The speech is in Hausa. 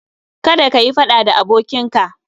Kada kayi faɗa da abokinka